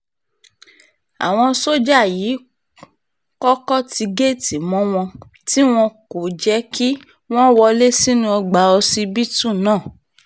àwọn sójà yìí kọ́kọ́ ti géètì mọ́ wọn tí wọn kò jẹ́ kí wọ́n wọlé sínú ọgbà ọsibítù náà